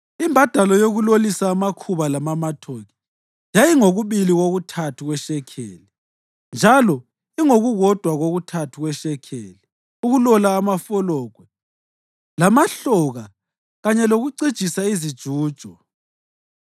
Imbadalo yokulolisa amakhuba lamamatoki yayingokubili kokuthathu kweshekeli, njalo ingokukodwa kokuthathu kweshekeli ukulola amafologwe lamahloka kanye lokucijisa izijujo.